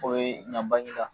O ye yan Baginda